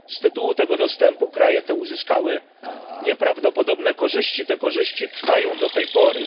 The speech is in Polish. Z tytułu tego dostępu kraje te uzyskały nieprawdopodobne korzyści, te korzyści trwają do tej pory.